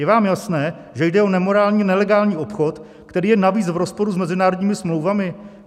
Je vám jasné, že jde o nemorální, nelegální obchod, který je navíc v rozporu s mezinárodními smlouvami?